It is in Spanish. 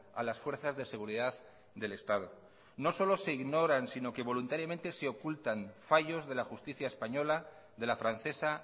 a las fuerzas de seguridad del estado no solo se ignoran sino que voluntariamente se ocultan fallos de la justicia española de la francesa